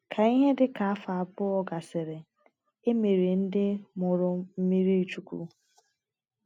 Ka ihe dị ka afọ abụọ gasịrị, e mere ndị mụrụ m mmirichukwu.